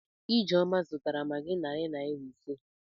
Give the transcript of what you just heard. Ijeoma zụtara magị narị naịra ise